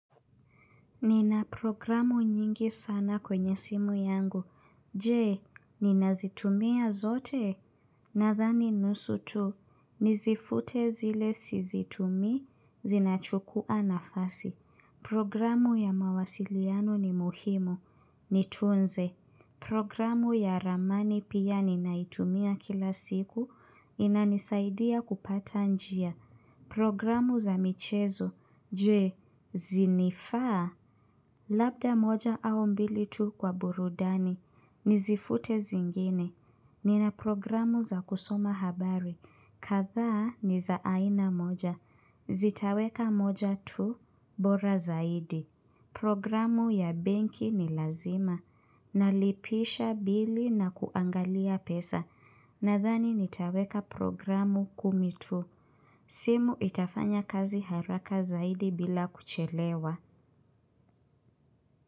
Nina program nyingi sana kwenye simu yangu. Je, ninazitumia zote? Nadhani nusu tu. Nizifute zile sizitumi, zinachukua nafasi. Programu ya mawasiliano ni muhimu. Nitunze. Programu ya ramani pia ninaitumia kila siku. Inanisaidia kupata njia. Program za michezo. Jee, zinifaa? Labda moja au mbili tu kwa burudani, nizifute zingine. Nina programu za kusoma habari, kadhaa ni za aina moja, zitaweka moja tu, bora zaidi. Programu ya benki ni lazima, nalipisha bili na kuangalia pesa, nadhani nitaweka programu kumi tu. Simu itafanya kazi haraka zaidi bila kuchelewa.